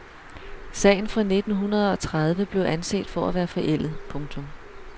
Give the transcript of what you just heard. Sagen fra nittenhundredeogtredive blev anset for at være forældet. punktum